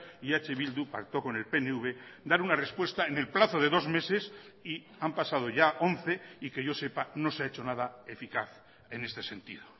y eh bildu pactó con el pnv dar una respuesta en el plazo de dos meses y han pasado ya once y que yo sepa no se ha hecho nada eficaz en este sentido